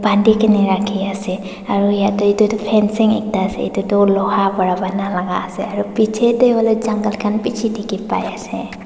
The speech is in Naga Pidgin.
bandi kena rakhi ase aro yetey itutu fencing ekta ase itutu loha para bana laga ase aro piche tey huile jungle khan bishi dikhi pai ase.